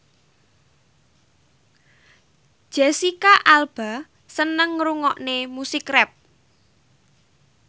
Jesicca Alba seneng ngrungokne musik rap